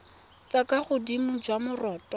jwa kwa godimo jwa moroto